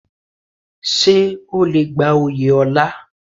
Ṣé o le gba oyè ọlá?